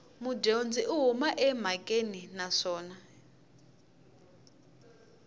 mudyondzi u huma emhakeni naswona